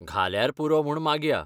घाल्यार पुरो म्हूण मागया.